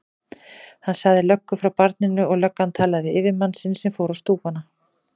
Hann sagði löggu frá barninu og löggan talaði við yfirmann sinn sem fór á stúfana.